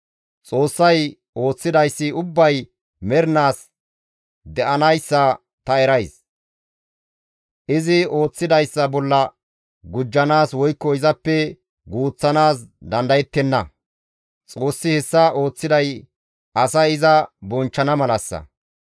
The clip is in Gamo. Xoossay ooththidayssi ubbay mernaas de7anayssa ta erays; izi ooththidayssa bolla gujjanaas woykko izappe guuththanaas dandayettenna. Xoossi hessa ooththiday asay iza bonchchana malassa.